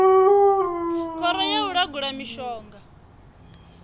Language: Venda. khoro ya u langula mishonga